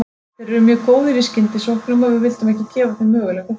Þeir eru mjög góðir í skyndisóknum og við vildum ekki gefa þeim möguleika á þeim.